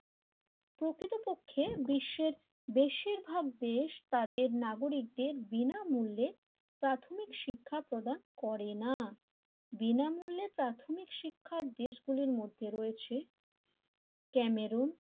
বিশ্বের বেশিরভাগ দেশ তাদের নাগরিকদের বিনামুলে প্রাথমিক শিক্ষা প্রদান করে না বিনামূলে প্রাথমিক শিক্ষার দেশগুলির মধ্যে ক্যামেরু